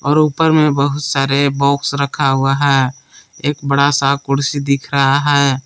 और ऊपर मे बहुत सारे बॉक्स रखा हुआ है एक बडा सा कुर्सी दिख रहा है।